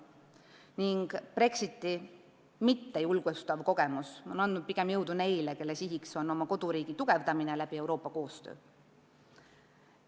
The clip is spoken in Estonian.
Ning Brexiti mittejulgustav kogemus on andnud pigem jõudu neile, kelle siht on oma koduriigi tugevdamine Euroopa koostöö abil.